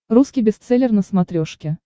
русский бестселлер на смотрешке